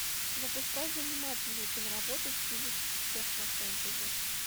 запускай занимательную киноработу в стиле технофентези